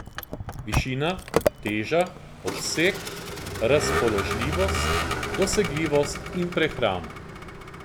Višina, teža, obseg, razpoložljivost, dosegljivost in prehrana.